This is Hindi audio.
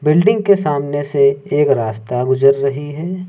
बिल्डिंग के सामने से एक रास्ता गुजर रही है।